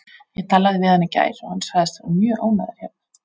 Ég talaði við hann í gær og hann sagðist vera mjög ánægður hérna.